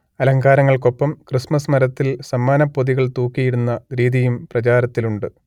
അലങ്കാരങ്ങൾക്കൊപ്പം Christmas മരത്തിൽ സമ്മാനപ്പൊതികൾ തൂക്കിയിടുന്ന രീതിയും പ്രചാരത്തിലുണ്ട്